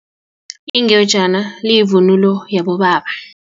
Ingejana liyivunulo yabobaba.